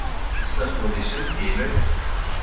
Íslandsmót í sundi í Nauthólsvík